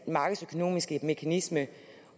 markedsøkonomiske mekanisme